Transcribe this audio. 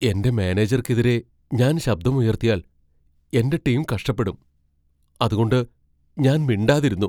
എന്റെ മാനേജർക്കെതിരെ ഞാൻ ശബ്ദം ഉയർത്തിയാൽ, എന്റെ ടീം കഷ്ടപ്പെടും. അതുകൊണ്ട് ഞാൻ മിണ്ടാതിരുന്നു.